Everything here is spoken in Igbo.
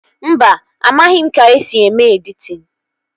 Mba, amaghị m ka-esi eme editin